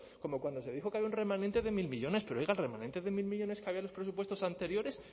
como cuando se dijo que había un remanente de mil millónes pero oiga el remanente de mil millónes que había en los presupuestos anteriores